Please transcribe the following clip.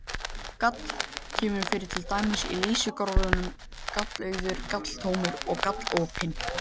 Gal- kemur fyrir til dæmis í lýsingarorðunum galauður, galtómur og galopinn.